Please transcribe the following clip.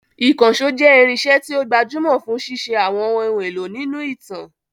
Ìkànṣó jẹ́ irinṣẹ́ tí ó gbajúmọ̀ fún ṣíṣe àwọn ohun èlò nínú ìtàn.